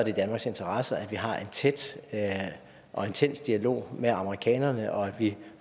i danmarks interesse at vi har en tæt og intens dialog med amerikanerne og at vi